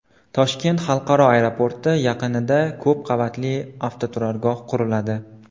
Toshkent xalqaro aeroporti yaqinida ko‘p qavatli avtoturargoh quriladi.